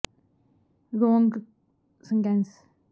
ਨੌਜਵਾਨ ਪੀੜ੍ਹੀ ਨੂੰ ਨਸ਼ਿਆਂ ਤੋਂ ਬਚਾ ਕੇ ਖੇਡਾਂ ਵੱਲ ਪ੍ਰਰ